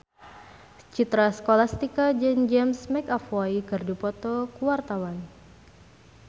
Citra Scholastika jeung James McAvoy keur dipoto ku wartawan